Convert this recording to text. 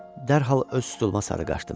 Dərhal öz stuluma sarı qaçdım.